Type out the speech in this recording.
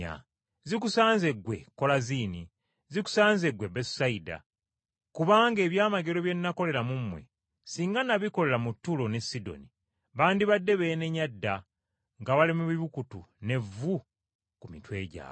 “Zikusanze, ggwe Kolaziini! Zikusanze ggwe Besusayida! Kubanga ebyamagero bye nakolera mu mmwe, singa nabikolera mu Ttuulo ne mu Sidoni, bandibadde beenenya dda nga bali mu bibukutu n’evvu ku mitwe gyabwe.